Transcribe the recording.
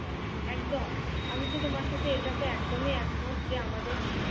একদম আমি তো তোমার সাথে এটাতে একদমই একমত যে আমাদের